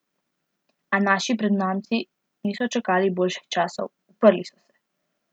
A naši prednamci niso čakali boljših časov, uprli so se.